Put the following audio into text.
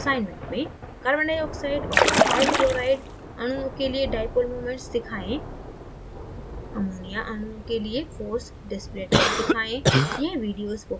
assignment में